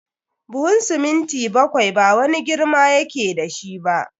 Buhun siminti bakwai ba wani girma ya ke da shi ba.